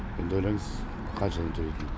сонда ойлаңыз қаншадан төлейтінін